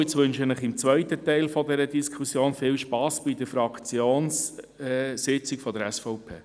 Nun wünsche ich Ihnen für den zweiten Teil dieser Diskussion viel Spass bei der Fraktionssitzung der SVP.